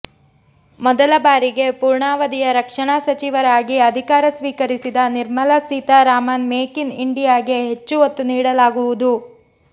ಮೊದಲ ಬಾರಿಗೆ ಪೂರ್ಣಾವಧಿಯ ರಕ್ಷಣಾ ಸಚಿವರಾಗಿ ಅಧಿಕಾರ ಸ್ವೀಕರಿಸಿದ ನಿರ್ಮಲಾ ಸೀತಾರಾಮನ್ ಮೇಕ್ ಇನ್ ಇಂಡಿಯಾಗೆ ಹೆಚ್ಚು ಒತ್ತು ನೀಡಲಾಗುವುದು